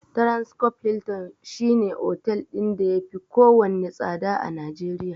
Transcorp Hilton shi ne otel ɗin da yafi kowanne tsada a Najeriya.